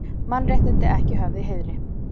Mannréttindi ekki höfð í heiðri